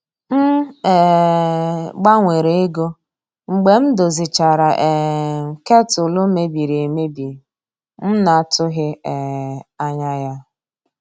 M um gbanwere ego mgbe m dozichara um ketụlụ mebiri emebi m na-atụghị um anya ya.